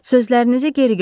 Sözlərinizi geri götürün.